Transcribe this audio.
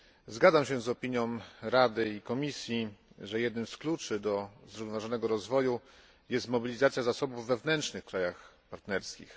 Zgadzam się z opinią Rady i Komisji, że jednym z kluczy do zrównoważonego rozwoju jest mobilizacja zasobów wewnętrznych w krajach partnerskich.